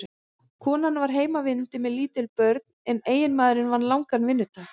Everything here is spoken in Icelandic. Konan var heimavinnandi með lítil börn en eiginmaðurinn vann langan vinnudag.